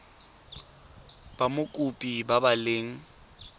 ba mokopi ba ba leng